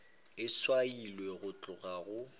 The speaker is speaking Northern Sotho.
e swailwe go tloga go